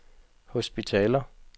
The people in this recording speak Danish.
hospitaler